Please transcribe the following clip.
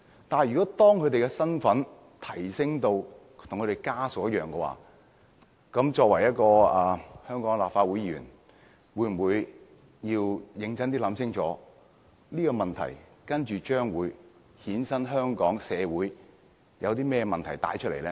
但是，當他們的身份提升至跟親屬一樣的話，作為一名香港立法會議員，是否應該認真想清楚，這個建議會否衍生甚麼社會問題？